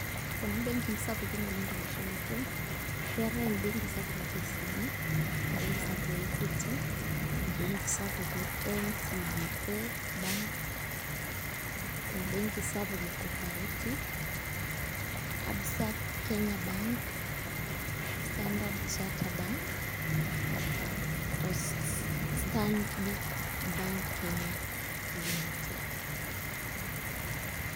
Kuna mbenkii sapikin oleng' tolosho le Kenya keetai ebenki sapuk e KCB, ebenki sapuk e Equity, ebenki sapuke NCBA Bank, ebenki sapuk e Coperative, Absa Kenya Bank, Standard Chartered Bank o Stanbic Bank Kenya Limited.